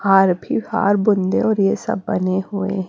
हार भी हार बंदर और ये सब बने हुए--